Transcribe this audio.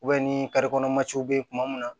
ni be kuma min na